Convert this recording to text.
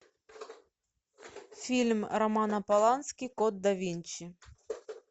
фильм романа полански код да винчи